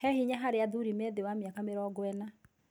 He hinya harĩ athuri mĩ thĩ wa mĩaka mĩrongo ĩna.